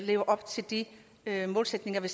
lever op til de målsætninger vi